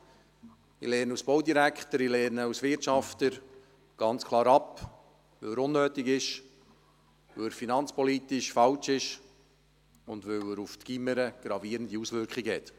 Ich lehne ihn als Baudirektor und als Wirtschafter ganz klar ab, weil er unnötig, weil er finanzpolitisch falsch ist, und weil er gravierende Auswirkungen auf die Gymnasien hat.